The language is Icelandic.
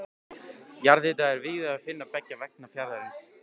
Jarðhita er víða að finna beggja vegna fjarðarins.